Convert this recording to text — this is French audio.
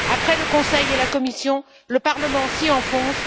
Après le Conseil et la Commission, le Parlement s'y enfonce.